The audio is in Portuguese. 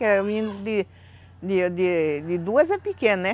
Que a menina de de de duas é pequena, né?